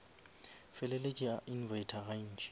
feleletše a invita ga ntši